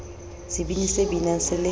sebini se binang se le